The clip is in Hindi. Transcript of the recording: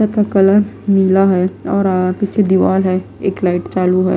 का कलर नीला हैऔर पीछे दीवार है एक लाइट चालू है।